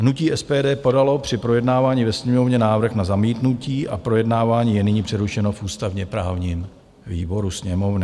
Hnutí SPD podalo při projednávání ve Sněmovně návrh na zamítnutí a projednávání je nyní přerušeno v ústavně-právním výboru Sněmovny.